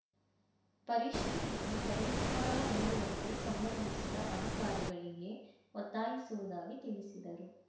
ಪರಿಶೀಲಿಸಿ ಪರಿಹಾರ ನೀಡುವಂತೆ ಸಂಬಂಧಿಸಿದ ಅಧಿಕಾರಿಗಳಿಗೆ ಒತ್ತಾಯಿಸುವುದಾಗಿ ತಿಳಿಸಿದರು